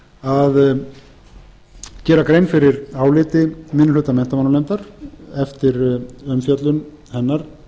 inngang að gera grein fyrir áliti minni hluta menntamálanefndar eftir umfjöllun hennar